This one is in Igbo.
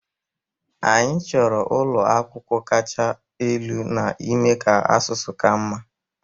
Anyị chọrọ inye ụlọ akwụkwọ kacha elu n'ime ka asụsụ ka mma